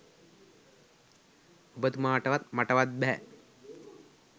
ඔබතුමාටවත් මටවත් බැහැ